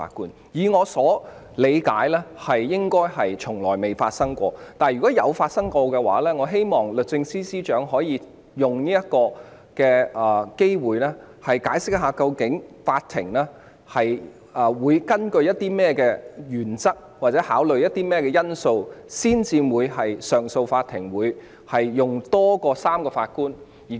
按我理解，這種情況應該從未發生，但如果確曾發生，我希望律政司司長可以藉此機會，解釋上訴法庭是基於甚麼原則或考慮甚麼因素須由多於3名法官組成。